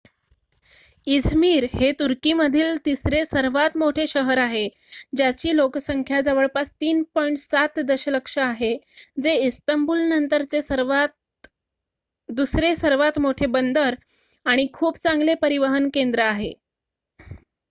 Izmir हे तुर्कीमधील तिसरे सर्वात मोठे शहर आहे ज्याची लोकसंख्या जवळपास 3.7 दशलक्ष आहे जे इस्तंबूलनंतरचे दुसरे सर्वात मोठे बंदर आणि खूप चांगले परिवहन केंद्र आहे